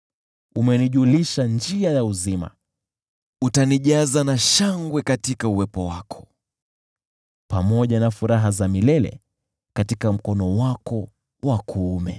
Umenijulisha njia ya uzima; utanijaza na furaha mbele zako, pamoja na furaha za milele katika mkono wako wa kuume.